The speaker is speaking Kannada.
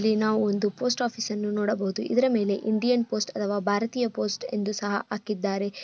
ಇಲ್ಲಿ ನಾವ್ ಒಂದು ಪೋಸ್ಟ್ ಆಫೀಸ್ ಅನ್ನು ನೋಡಬಹುದು ಇದರ ಮೇಲೆ ಇಂಡಿಯನ್ ಪೋಸ್ಟ್ ಅಥವಾ ಭಾರತೀಯ ಪೋಸ್ಟ್ ಎಂದು ಸಹ ಹಾಕಿದ್ದಾರೆ.